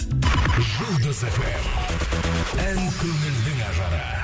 жұлдыз эф эм ән көңілдің ажары